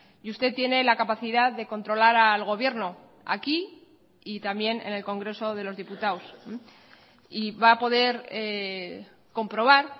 y usted tiene la capacidad de controlar al gobierno aquí y también en el congreso de los diputados y va a poder comprobar